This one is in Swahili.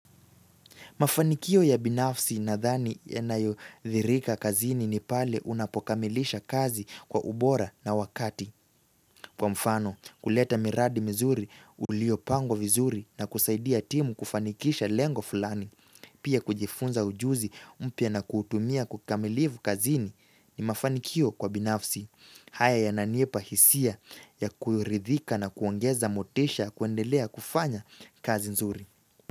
Mafanikio ya binafsi nadhani yanayo dhirika kazini ni pale unapokamilisha kazi kwa ubora na wakati. Kwa mfano kuleta miradi mizuri uliopangwa vizuri na kusaidia timu kufanikisha lengo fulani. Pia kujifunza ujuzi mpya na kuutumia kukamilivu kazini ni mafanikio kwa binafsi. Haya yananipa hisia ya kuridhika na kuongeza motisha kuendelea kufanya kazi nzuri.